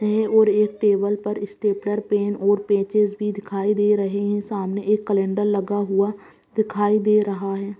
है और एक टेबल पर स्टेपलर पेन और पेचिश भी दिखाई दे रहे हैं सामने एक कैलेंडर लगा हुआ दिखाई दे रहा है।